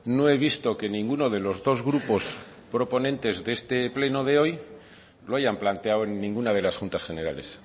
no he visto que ninguno de los dos grupos proponentes de este pleno de hoy lo hayan planteado en ninguna de las juntas generales